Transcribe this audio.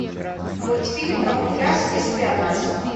мультфильм камуфляж и шпионаж